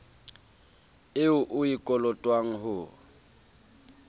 eo o e kolotwang ho